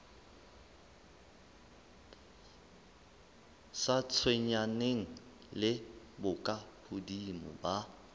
sa tshwenyaneng le bokahodimo ba